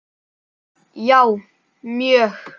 Já, mjög